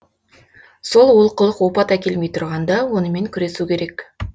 сол олқылық опат әкелмей тұрғанда онымен күресу керек